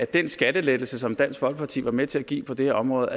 den skattelettelse som dansk folkeparti var med til at give på det her område